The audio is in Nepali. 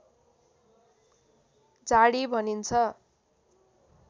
झाडी भनिन्छ